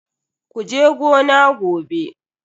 Kuje gona gobe.